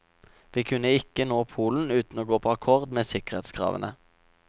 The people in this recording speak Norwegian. Vi kunne ikke nå polen uten å gå på akkord med sikkerhetskravene.